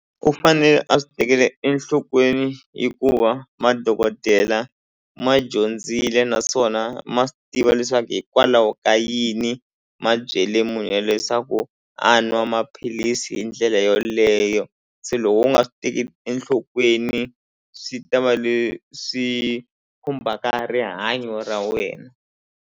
U fanele a swi tekela enhlokweni hikuva madokodela ma dyondzile naswona ma swi tiva leswaku hikwalaho ka yini ma byele munhu yelweyo swa ku a nwa maphilisi hi ndlela yoleyo se loko u nga swi tekeli enhlokweni swi ta va leswi khumbhaka rihanyo ra wena.